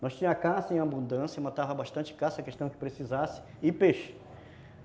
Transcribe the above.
Nós tínhamos a caça em abundância, matávamos bastante caça, questão que precisasse e peixe.